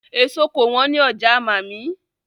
Èso kò wọ́n ní ọjà màmí.